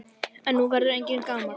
En nú verður enginn gamall.